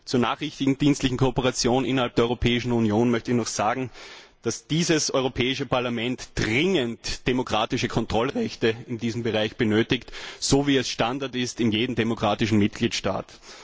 Zur nachrichtendienstlichen Kooperation innerhalb der Europäischen Union möchte ich noch sagen, dass das Europäische Parlament dringend demokratische Kontrollrechte in diesem Bereich benötigt, so wie es Standard ist in jedem demokratischen Mitgliedstaat.